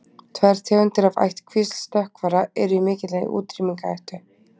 tvær tegundir af ættkvísl stökkvara eru í mikilli útrýmingarhættu